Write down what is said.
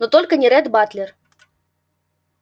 но только не ретт батлер